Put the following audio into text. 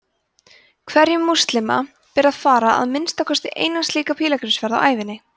hverjum múslima ber að fara að minnsta kosti eins slíka pílagrímsferð á ævinni